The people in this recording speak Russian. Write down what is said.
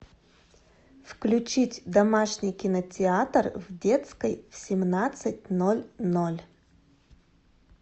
включить домашний кинотеатр в детской в семнадцать ноль ноль